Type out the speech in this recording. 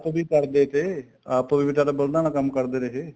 ਵੀ ਕਰਦੇ ਤੇ ਆਪ ਵੀ ਪਹਿਲਾਂ ਬਲਦਾਂ ਨਾਲ ਕੰਮ ਕਰਦੇ ਰਹੇ